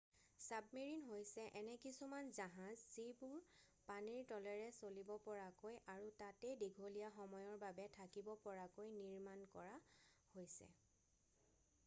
submarine হৈছে এনে কিছুমান জাহাজ যিবোৰ পানীৰ তলেৰে চলিব পৰাকৈ আৰু তাতে দীঘলীয়া সময়ৰ বাবে থাকিব পৰাকৈ নিৰ্মাণ কৰা হৈছে